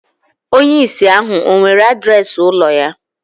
Onye ìsì ahu ọ̀ nwere adreesị ụlọ ya